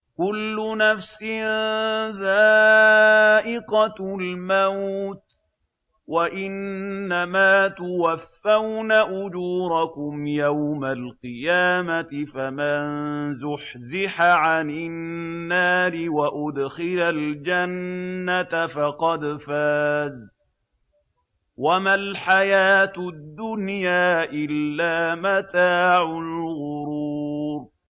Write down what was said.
كُلُّ نَفْسٍ ذَائِقَةُ الْمَوْتِ ۗ وَإِنَّمَا تُوَفَّوْنَ أُجُورَكُمْ يَوْمَ الْقِيَامَةِ ۖ فَمَن زُحْزِحَ عَنِ النَّارِ وَأُدْخِلَ الْجَنَّةَ فَقَدْ فَازَ ۗ وَمَا الْحَيَاةُ الدُّنْيَا إِلَّا مَتَاعُ الْغُرُورِ